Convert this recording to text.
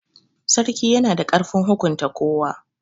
Sarki yana da ƙarfin hukunta kowa.